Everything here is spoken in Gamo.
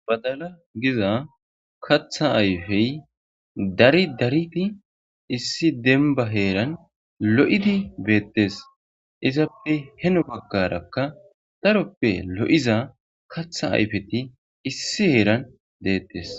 Badala giza katha ayfey dari dariti issi denba heeran lo'idi beettes izappe heno baggarakka taroppe lo'iza katha ayfeti issi heeran deettes.